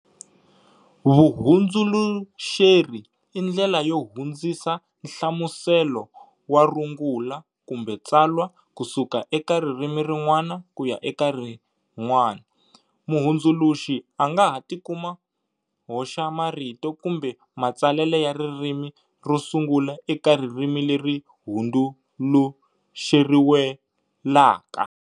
Vuhundzuluxeri i ndlela yo hundzisa nhlamuselo wa rungula kumbe tsalwa ku suka eka ririmi rin'wana kuya eka rin'wana. Muhundzuluxi anga ha tikuma hoxa marito kumbe ma tsalele ya ririmi ro sungula eka ririmi leri hunduluxeriwelaka.